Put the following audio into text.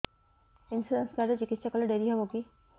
insurance card ରେ ଚିକିତ୍ସା କଲେ ଡେରି ହବକି